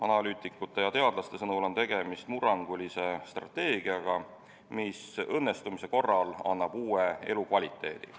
Analüütikute ja teadlaste sõnul on tegemist murrangulise strateegiaga, mis õnnestumise korral annab uue elukvaliteedi.